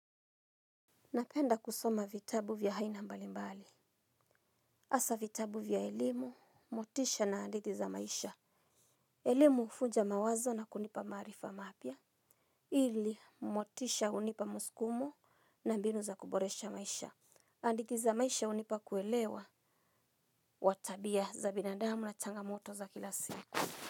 Napenda kusoma vitabu vya aina mbalimbali. Hasa vitabu vya elimu, motisha na hadithi za maisha. Elimu huvunja mawazo na kunipa maarifa mapya. Ili, motisha hunipa muskumo na mbinu za kuboresha maisha. Anditi za maisha unipa kuelewa. Wa tabia za binadamu na changamoto za kila siku.